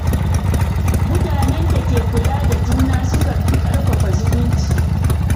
Mutanen da ke kula da juna sukan fi ƙarfafa zumunci.